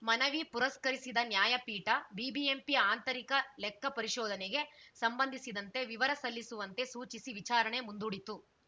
ಮನವಿ ಪುರಸ್ಕರಿಸಿದ ನ್ಯಾಯಪೀಠ ಬಿಬಿಎಂಪಿ ಆಂತರಿಕ ಲೆಕ್ಕ ಪರಿಶೋಧನೆಗೆ ಸಂಬಂಧಿಸಿದಂತೆ ವಿವರ ಸಲ್ಲಿಸುವಂತೆ ಸೂಚಿಸಿ ವಿಚಾರಣೆ ಮುಂದೂಡಿತು